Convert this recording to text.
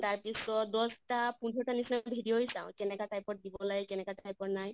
তাৰ পিছত দশ্টা পোন্ধৰ টা নিছিনা video য়ে চাওঁ কেনেকা type দিব লাগে, কেনেকা type ৰ নাই